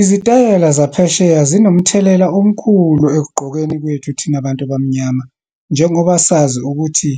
Izitayela zaphesheya zinomthelela omkhulu ekugqokeni kwethu thina bantu abamnyama. Njengoba sazi ukuthi